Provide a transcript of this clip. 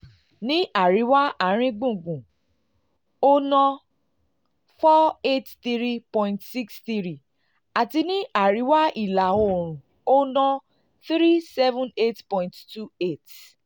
ní àríwá àárín gbùngbùn àríwá àárín gbùngbùn ó ná n four hundred eighty three point six three àti ní àríwá ìlà oòrùn ó ná n three hundred seventy eight point two eight.